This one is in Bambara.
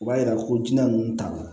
U b'a yira ko jinɛ ninnu ta